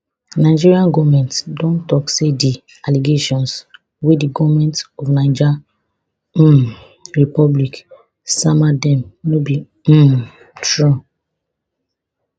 nigeria goment don tok say di allegations wey di goment of niger um republic sama dem no be um true